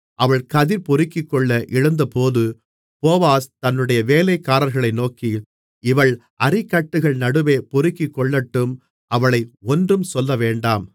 அவள் கதிர் பொறுக்கிக்கொள்ள எழுந்தபோது போவாஸ் தன்னுடைய வேலைக்காரர்களை நோக்கி அவள் அரிக்கட்டுகள் நடுவே பொறுக்கிக்கொள்ளட்டும் அவளை ஒன்றும் சொல்லவேண்டாம்